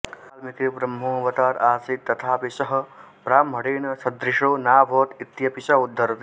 वाल्मिकिर्ब्रह्मोऽवतार आसीत् तथापि सः ब्राह्मणेन सदृशो नाभवत् इत्यपि सः उद्धरति